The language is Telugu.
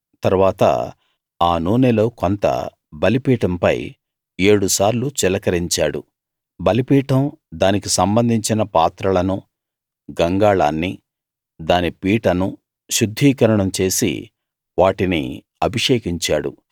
తరువాత ఆ నూనెలో కొంత బలిపీఠంపై ఏడుసార్లు చిలకరించాడు బలిపీఠం దానికి సంబంధించిన పాత్రలను గంగాళాన్నీ దాని పీటనూ శుద్ధీకరణం చేసి వాటిని అభిషేకించాడు